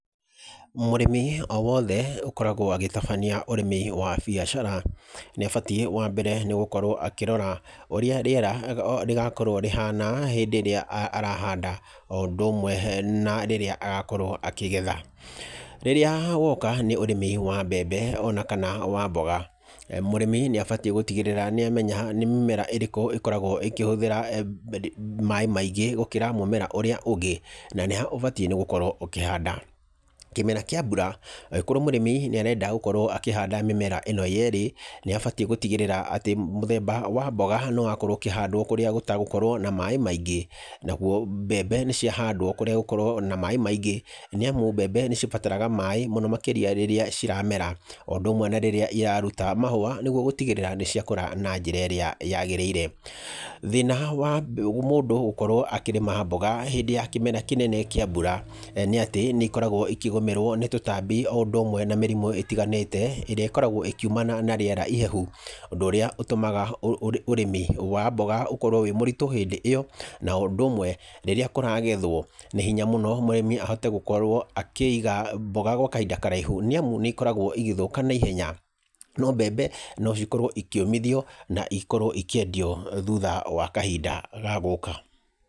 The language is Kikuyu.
Mũrĩmi o wothe ũkoragwo agĩtabania ũrĩmi wa biacara, nĩ abatiĩ wa mbere nĩ gũkorwo akĩrora ũrĩa rĩera rĩgakorwo rĩhana hĩndĩ ĩrĩa arahanda, o ũndũ ũmwe na rĩrĩa agakorwo akĩgetha. Rĩrĩa woka nĩ ũrĩmi wa mbembe ona kana wa mboga, mũrĩmi nĩ abatiĩ gũtigĩrĩra nĩ amenya nĩ mĩmera ĩrĩkũ ĩkoragwo ĩkĩhũthĩra maaĩ maingĩ gũkĩra mũmera ũrĩa ũngĩ, na nĩ ha ũbatiĩ gũkorwo ũkĩhanda. Kĩmera kĩa mbura, angĩkorwo mũrĩmi nĩ arenda gũkorwo akĩhanda mĩmera ĩno yeerĩ, nĩ abatiĩ gũtigĩrĩra atĩ mũthemba wa mboga nĩ wakorwo ũkĩhandwo kũrĩa gũtagũkorwo na maaĩ maingĩ, naguo mbembe nĩ ciahandwo kũrĩa gũkorwo na maaĩ maingĩ, nĩamu mbembe nĩ cibataraga maaĩ mũno makĩria rĩrĩa ciramera, o ũndũ ũmwe na rĩrĩa iraruta mahũa nĩguo gũtigĩrĩra nĩ ciakũra na njĩra ĩrĩa yagĩrĩire. Thĩna wa mũndũ gũkorwo akĩrĩma mboga hĩndĩ ya kĩmera kĩnene kĩa mbura nĩ atĩ nĩ ikoragwo ikĩgũmĩrwo nĩ tũtambi o ũndũ ũmwe na mĩrimu itiganĩte, ĩrĩa ĩkoragwo ĩkiumana na rĩera ihehu, ũndũ ũrĩa ũtũmaga ũrĩmi ya mboga ũkorwo wĩ mũritũ hĩndĩ ĩyo na ũndũ ũmwe, rĩrĩa kũragethwo nĩ hinya mũno mũrĩmi ahote gũkorwo akĩiga mboga gwa kahinda karaihu nĩamu nĩ ikoragwo igĩthũka na ihenya, no mbembe no cikorwo ikĩũmithio na ikorwo ikĩendio thutha wa kahinda ga gũka.